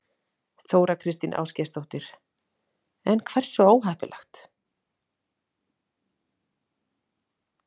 Þóra Kristín Ásgeirsdóttir: En hversu óheppileg?